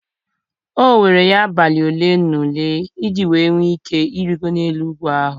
O were ya abalị ole na ole iji nwee ike Ịrịgoro n'elu ugwu ahụ.